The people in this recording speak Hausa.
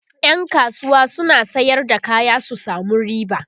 ƴan kasuwa suna Sayar da kaya su samu riba